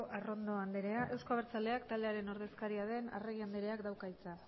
arrondo anderea euzko abertzaleak taldearen ordezkaria den arregi andereak dauka hitza